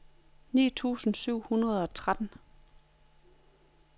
ni tusind syv hundrede og tretten